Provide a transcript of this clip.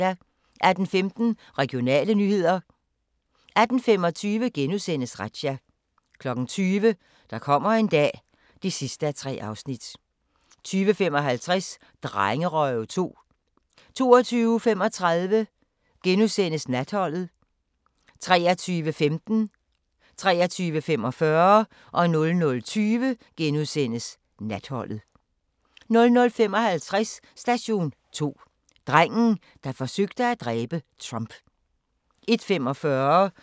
18:15: Regionale nyheder 18:25: Razzia * 20:00: Der kommer en dag (3:3) 20:55: Drengerøve 2 22:35: Natholdet * 23:15: Natholdet * 23:45: Natholdet * 00:20: Natholdet * 00:55: Station 2: Drengen, der forsøgte at dræbe Trump 01:45: Krop umulig – fedme